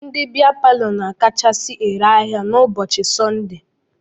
Ndị bịa palọ na-akachasi ere ahịa n'ụbọchị Sọndee.